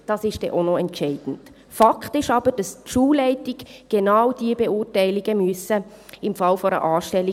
Fakt ist aber, dass die Schulleitungen im Falle einer Anstellung genau diese Beurteilung vornehmen müssen.